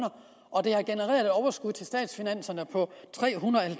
at overskud til statskassen på tre hundrede